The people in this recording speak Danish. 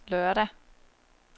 lørdag